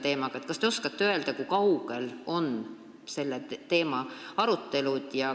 Kas te oskate öelda, kui kaugel on selle teema arutelud?